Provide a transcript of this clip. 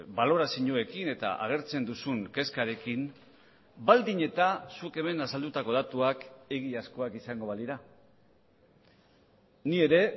balorazioekin eta agertzen duzun kezkarekin baldin eta zuk hemen azaldutako datuak egiazkoak izango balira ni ere